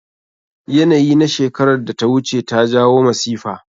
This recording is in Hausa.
Yanayi na shekerar da ta wuce ta jawo masifa.